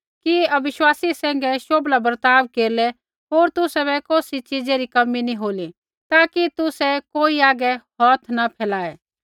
कि अविश्वासी सैंघै शोभला बर्ताव केरलै होर तुसाबै कौसी च़ीज़ै री कमी नी होली ताकि तुसै कोई हागै हौथ न फैलाऐ